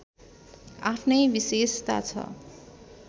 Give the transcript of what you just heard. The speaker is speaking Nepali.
आफ्नै विशेषता छ